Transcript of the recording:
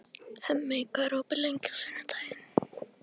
Hemmi, hvað er opið lengi á sunnudaginn?